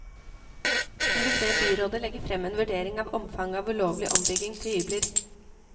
Hun vil be byrådet legge frem en vurdering av omfanget av ulovlig ombygging til hybler.